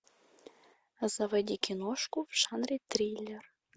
заводи киношку в жанре триллер